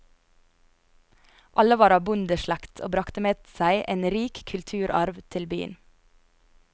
Alle var av bondeslekt og bragte med seg en rik kulturarv til byen.